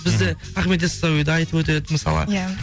бізде ахмет йассауиді айтып өтеді мысалы иә